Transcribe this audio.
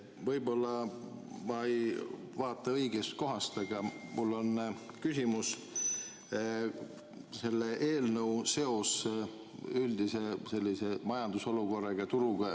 Võib-olla ma ei vaata õigest kohast, aga mul on küsimus selle eelnõu seose kohta üldise majandusolukorraga, turuga.